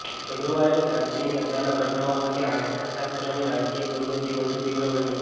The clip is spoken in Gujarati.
ફેબ્રુઆરીની ક્રાંતિની અચાનક ઘટનાઓ પછી અર્થશાસ્ત્રીની રાજકીય પ્રવૃત્તિ વધુ તીવ્ર બની